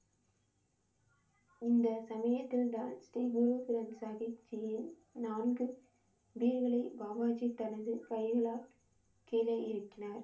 இந்த சமயத்தில் தான் ஸ்ரீ குரு சாஹிப் ஜியின் நான்கு வீடுகளை பாபா ஜி தனது கைகளால் கீழே இறக்கினார்